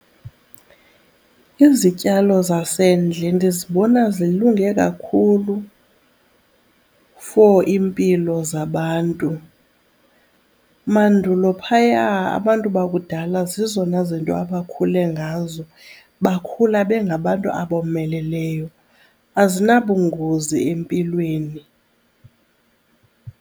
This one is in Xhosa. Izityalo zasendle ndizibona zilunge kakhulu for iimpilo zabantu. Mandulo phaya abantu bakudala zizona zinto abakhule ngazo bakhula bengabantu abomeleleyo, azinabungozi empilweni.